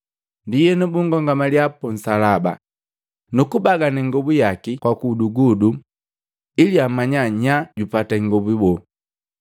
Ndienu bunkomangalya punsalaba, nukubagana ingobu yaki kwa gudugudu ili amanya nyaa jupata ingobu boo.